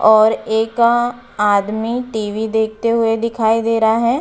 और एक आदमी टी.वी. देखते हुए दिखाई दे रहा है।